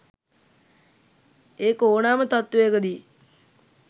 ඒක ඕනෑම තත්ත්වයකදි